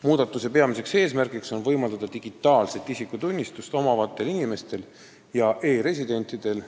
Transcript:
Muudatuse peamine eesmärk on võimaldada digitaalset isikutunnistust omavatel inimestel ja e-residentidel